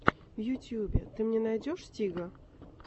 в ютюбе ты мне найдешь стига